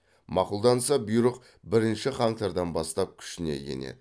мақұлданса бұйрық бірінші қаңтардан бастап күшіне енеді